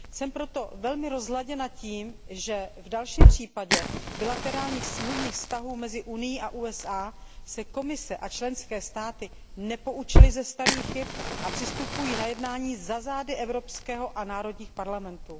Jsem proto velmi rozladěna tím, že v dalším případě bilaterálních smluvních vztahů mezi Unií a USA se Komise a členské státy nepoučily ze starých chyb a přistupují na jednání za zády Evropského parlamentu a národních parlamentů.